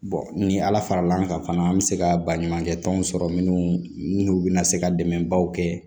ni ala faral'an kan fana an bɛ se ka baɲumankɛ tɔnw sɔrɔ minnu bɛna se ka dɛmɛbaw kɛ